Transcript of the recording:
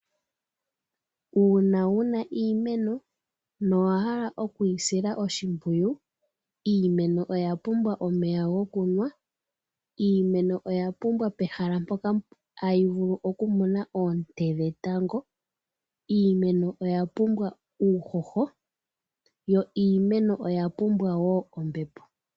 Uuna wuna iimeno nowa hala okuyi sila oshipwiyu, iimeno oya pumbwa omeya gokunwa, iimeno oya pumbwa pehala moka tayi vulu oku mona oonte dhetango, iimeno oya pumbwa uuhoho yo iimeno oya pumbwa wo ombepo.